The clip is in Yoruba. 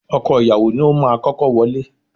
Ọkọ ìyàwó ni ó máa kọ́kọ́ wọlé.